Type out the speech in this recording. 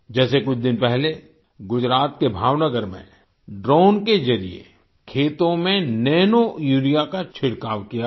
जैसे कुछ दिन पहले गुजरात के भावनगर में ड्रोन के जरिए खेतों में नैनोयूरिया का छिड़काव किया गया